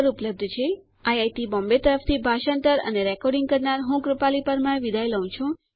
spoken tutorialorgnmeict intro IIT Bombay તરફથી ભાષાંતર અને રેકોર્ડીંગ કરનાર હું કૃપાલી પરમાર વિદાય લઉં છું